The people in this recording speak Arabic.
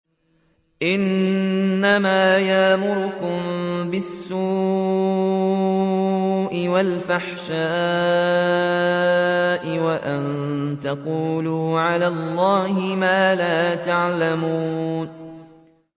إِنَّمَا يَأْمُرُكُم بِالسُّوءِ وَالْفَحْشَاءِ وَأَن تَقُولُوا عَلَى اللَّهِ مَا لَا تَعْلَمُونَ